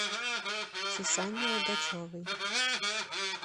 сусанне логачевой